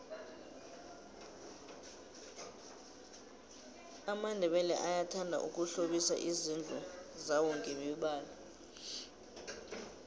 amandebele ayathanda ukuhlobisa izindlu zawongemibalo